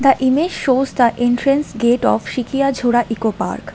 The image shows the entrance gate of sikiya jhora eco park.